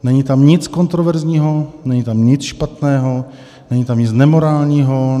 Není tam nic kontroverzního, není tam nic špatného, není tam nic nemorálního.